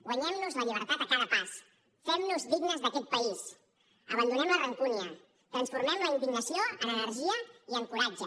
guanyem nos la llibertat a cada pas fem nos dignes d’aquest país abandonem la rancúnia transformem la indignació en energia i en coratge